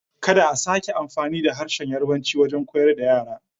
Kada a sake amfani da harshen Yarbanci wajen koyar da yara!